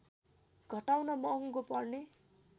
घटाउन महँगो पर्ने